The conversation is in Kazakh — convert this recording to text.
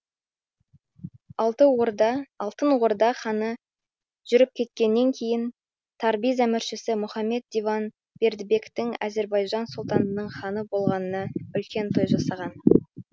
алтын орда ханы жүріп кеткеннен кейін табриз әміршісі мұхаммед диван бердібектің әзірбайжан сұлтанының ханы болғанына үлкен той жасаған